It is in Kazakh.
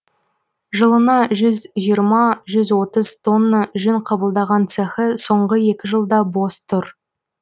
жылына жүз жиырма жүз отыз тонна жүн қабылдаған цехы соңғы екі жылда бос тұр